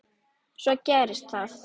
Svo gerist það.